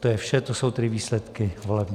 To je vše, to jsou tedy výsledky voleb.